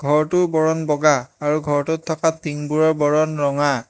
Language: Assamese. ঘৰটোৰ বৰণ বগা আৰু ঘৰটোত থকা টিংঙবোৰৰ বৰণ ৰঙা।